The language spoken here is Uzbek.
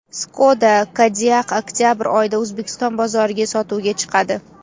Skoda Kodiaq oktabr oyida O‘zbekiston bozoriga sotuvga chiqadi.